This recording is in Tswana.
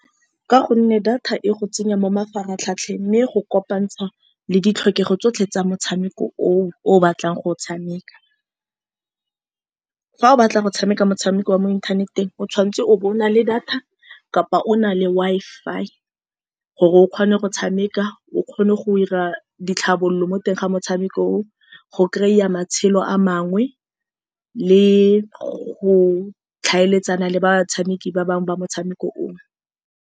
Ka gonne data e go tsenya mo mafaratlhatlheng, mme e go kopantsha le ditlhokego tsotlhe tsa motshameko o o batlang go o tshameka. Fa o batla go tshameka motshameko wa mo inthaneteng, o tshwanetse o bo o na le data kapa o na le Wi-Fi, gore o kgone go tshameka. O kgone go 'ira ditlhabololo mo teng ga motshameko oo, go kry-a matshelo a mangwe, le go tlhaeletsana le batshameki ba bangwe ba motshameko oo.